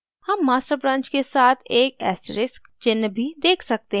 हम master branch के साथ एक asterisk चिन्ह भी देख सकते हैं